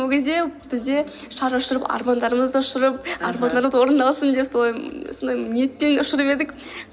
ол кезде бізде шар ұшырып армандарымызды ұшырып армандарымыз орындалсын деп солай сондай ниетпен ұшырып едік